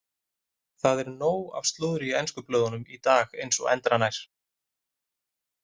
Það er nóg af slúðri í ensku blöðunum í dag eins og endranær.